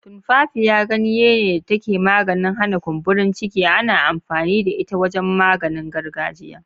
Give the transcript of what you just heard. Tumfafiya, ganye da take da maganin hana kumburin ciki, ana amfani da ita wajen maganin gargajiya.